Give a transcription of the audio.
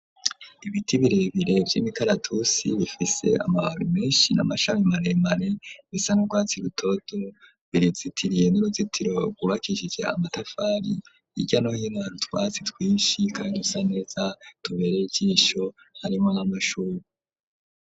Ibiti birebire vy'imikalatusi bifise amababi menshi n'amashami maremare bisa n'urwatsi rutoto birazitiriye n'uruzitiro rwubakishije amatafari hirya no hino hari utwatsi twinshi rusa neza tubereye ijisho harimwo n'amashure.